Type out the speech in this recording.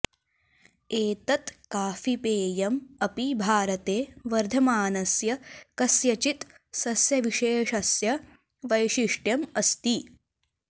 एतत् काफीपेयम् अपि भारते वर्धमानस्य कस्यचित् सस्यविशेषस्य वैशिष्ट्यम् अस्ति